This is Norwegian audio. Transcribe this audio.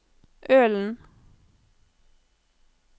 Ølen